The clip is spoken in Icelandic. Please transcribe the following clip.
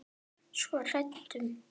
Svo hrædd um.